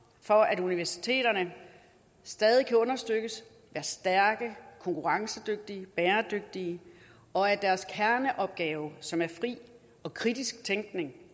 for at universiteterne stadig kan understøttes og være stærke konkurrencedygtige og bæredygtige og at deres kerneopgave som er fri og kritisk tænkning